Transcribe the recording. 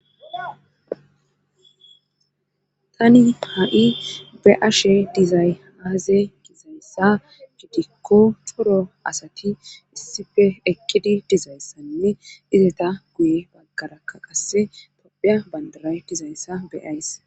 tani ha7i be ashe dizayhaaze gizayssa gidikko coro asati issife ekkidi dizayssanne izeta guye baggarakka qasse tophiya bandaray dizayssa be7ays